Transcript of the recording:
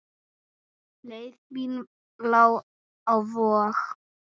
Leið mín lá á Vog.